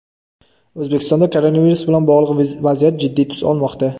O‘zbekistonda koronavirus bilan bog‘liq vaziyat jiddiy tus olmoqda.